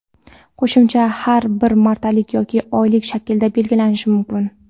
qo‘shimcha haq bir martalik yoki oylik shaklda belgilanishi mumkin.